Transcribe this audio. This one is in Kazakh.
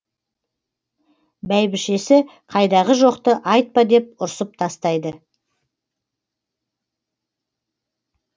бәйбішесі қайдағы жоқты айтпа деп ұрсып тастайды